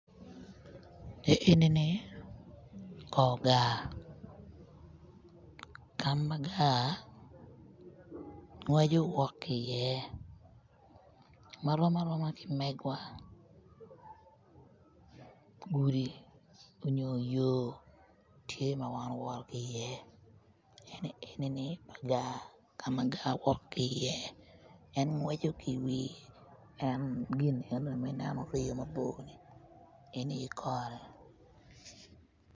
Enini kor gar ka ma gar ngweco wok ki iye ma rom aroma ki megwa gudi onyo yo tye ma wan owoto ki iye eni me gar ka ma gar wok ki iye eni ngweco iwi en gin enoni ma orye mabor enoni aye kore